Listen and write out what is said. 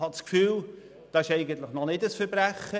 Ich habe das Gefühl, dies sei noch kein Verbrechen.